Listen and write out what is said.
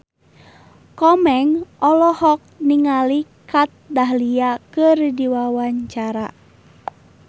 Komeng olohok ningali Kat Dahlia keur diwawancara